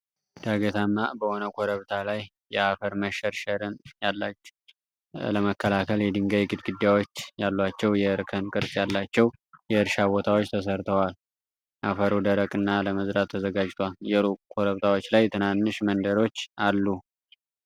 ዳገታማ በሆነ ኮረብታ ላይ የአፈር መሸርሸርን ለመከላከል የድንጋይ ግድግዳዎች ያሏቸው የእርከን ቅርጽ ያላቸው የእርሻ ቦታዎች ተሠርተዋል። አፈሩ ደረቅ እና ለመዝራት ተዘጋጅቷል። በሩቁ ኮረብታዎች ላይ ትናንሽ መንደሮች አሉ።